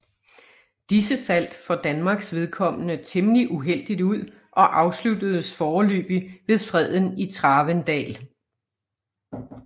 Disse faldt for Danmarks vedkommende temmelig uheldigt ud og afsluttedes foreløbig ved freden i Travendal